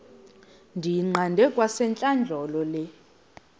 ndiyiqande kwasentlandlolo le